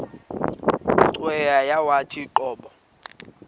cweya yawathi qobo